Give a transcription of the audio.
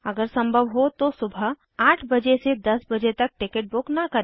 अगर संभव हो तो सुबह 8 बजे से 10 बजे तक टिकट बुक न करें